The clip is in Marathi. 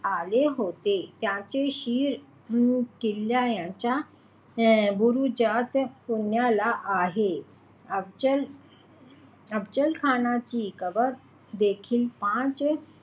आले होते त्याचे शीर किल्ल्याच्या अं बुरुजात पुण्याला आहे. अफझल अफझलखानची कबर देखील या,